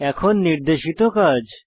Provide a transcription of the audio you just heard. এখন নির্দেশিত কাজ